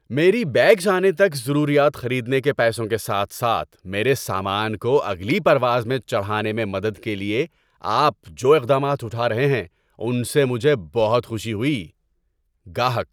میری بیگز آنے تک ضروریات خریدنے کے پیسوں کے ساتھ ساتھ میرے سامان کو اگلی پرواز میں چڑھانے میں مدد کے لیے آپ جو اقدامات اٹھا رہے ہیں ان سے مجھے بہت خوشی ہوئی۔ (گاہک)